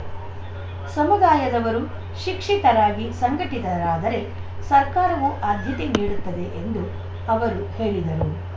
ಸಮುದಾಯದವರು ಶಿಕ್ಷಿತರಾಗಿ ಸಂಘಟಿತರಾದರೆ ಸರ್ಕಾರವೂ ಆದ್ಯತೆ ನೀಡುತ್ತದೆ ಎಂದು ಅವರು ಹೇಳಿದರು